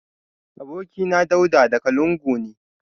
Abokina Dauda daga lungu ne